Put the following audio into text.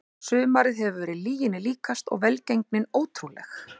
Sumarið hefur verið lyginni líkast og velgengnin ótrúleg.